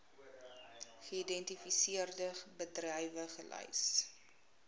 geïdentifiseerde bedrywe gelys